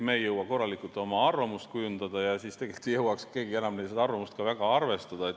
Me ei jõua korralikult oma arvamust kujundada ja tegelikult ei jõuaks keegi enam seda arvamust ka väga arvestada.